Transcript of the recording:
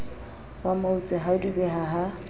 wa mautse ha dubeha ha